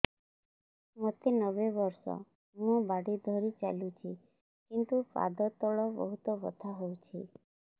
ମୋତେ ନବେ ବର୍ଷ ମୁ ବାଡ଼ି ଧରି ଚାଲୁଚି କିନ୍ତୁ ପାଦ ତଳ ବହୁତ ବଥା ହଉଛି